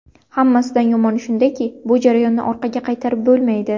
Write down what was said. Hammasidan yomoni shundaki, bu jarayonni orqaga qaytarib bo‘lmaydi.